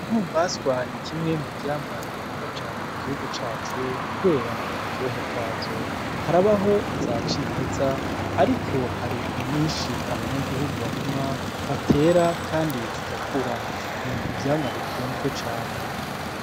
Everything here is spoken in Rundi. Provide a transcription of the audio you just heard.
Intumbaswa nikimwe muvyamwa bikunzwe cane mugihugu cacu kubera uburyohe bwazo, harabaho izimeza ariko harinyinshi abanyagihugu barima batera zigakura n'ivyamwa bikunzwe cane.